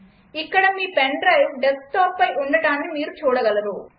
ఇక్కడ మీ pen drive డెస్క్టాప్పై ఉండటాన్ని మీరు చూడగలరు